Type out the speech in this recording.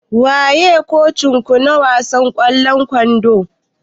Waye kocin ku na wasan ƙwallon kwando?